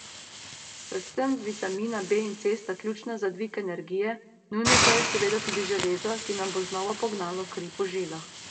Predvsem vitamina B in C sta ključna za dvig energije, nujno pa je seveda tudi železo, ki nam bo znova pognalo kri po žilah.